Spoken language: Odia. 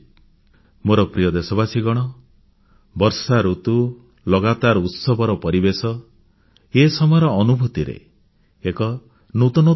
ମୋର ପ୍ରିୟ ଦେଶବାସୀଗଣ ବର୍ଷାଋତୁ ଲଗାତାର ଉତ୍ସବର ପରିବେଶ ଏ ସମୟର ଅନୁଭୂତିରେ ଏକ ନୂତନତ୍ୱ ଥାଏ